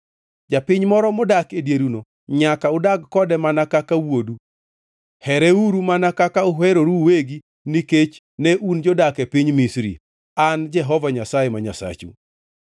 Japiny moro modak e dieruno nyaka udag kode mana kaka wuodu. Hereuru mana kaka uheroru uwegi nikech ne un jodak e piny Misri. An Jehova Nyasaye ma Nyasachu.